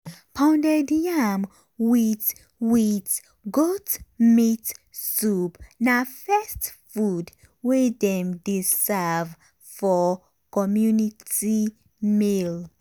pounded yam with with goat meat soup na first food wey dem dey serve for community meal.